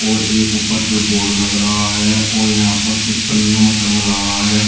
और एक उपर पे बोर्ड लग रहा है और यहां पर कुछ पन्नियों में टंग रहा है।